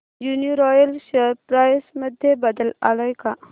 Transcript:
Uniroyal share price मध्ये बदल आलाय का